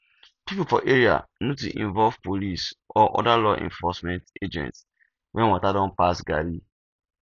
pipo for area need to involve police or oda law enforcement agents when water don pass garri